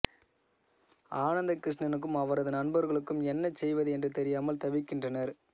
அனந்தகிருஷ்ணனுக்கும் அவரது நண்பர்களுக்கும் என்ன செய்வது என்று தெரியாமல் தவிக்கின்றனர்